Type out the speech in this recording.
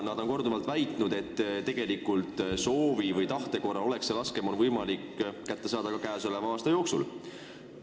Nemad on korduvalt väitnud, et tegeliku soovi korral oleks see laskemoon võimalik kätte saada ka käesoleva aasta jooksul.